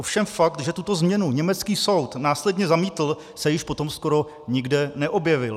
Ovšem fakt, že tuto změnu německý soud následně zamítl, se již potom skoro nikde neobjevil.